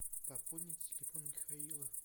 пополнить телефон михаила